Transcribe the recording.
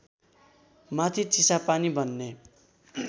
माथि चिसापानी भन्ने